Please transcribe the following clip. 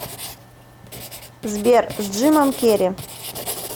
сбер с джимом керри